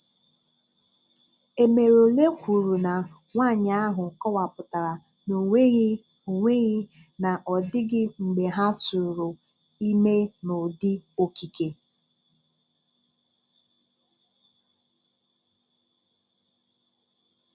Emerole kwùrù na nwáànyị ahụ kọ̀wapùtárà na ọ̀nweghị ọ̀nweghị na ọ dịghị mgbe ha tụrụ ime n’ụdị̀ okike.